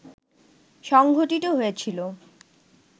সংঘটিত হয়েছিল